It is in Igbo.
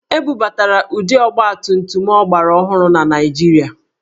E bubatara ụdị ọgbatumtum ọgbaraọhụrụ na Naịjirịa